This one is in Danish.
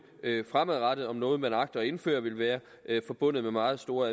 fremadrettet om noget man agter at indføre vil være forbundet med meget store